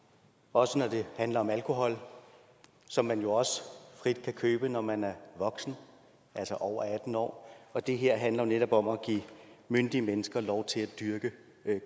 også når det handler om alkohol som man jo også frit kan købe når man er voksen altså over atten år år det her handler netop om at give myndige mennesker lov til at dyrke